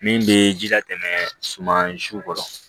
Min bɛ ji latɛmɛ suma zuw kɔrɔ